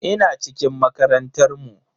Ina cikin makarantar mu.